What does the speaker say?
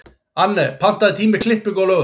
Anne, pantaðu tíma í klippingu á laugardaginn.